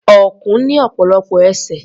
Ọ̀kùn ní ọ̀pọ̀lọpọ̀ ẹsẹ̀.